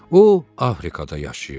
O Afrikada yaşayırdı.